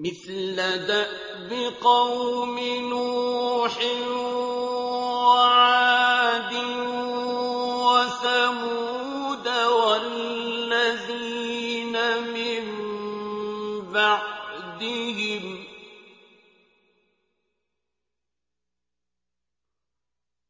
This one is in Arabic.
مِثْلَ دَأْبِ قَوْمِ نُوحٍ وَعَادٍ وَثَمُودَ وَالَّذِينَ مِن بَعْدِهِمْ ۚ